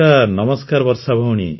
ନମସ୍କାର ବର୍ଷା ଭଉଣୀ